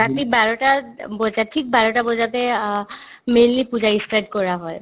ৰাতি বাৰটাত বজাত থিক বাৰটা বজাতে অ mainly পূজা ই start কৰা হয়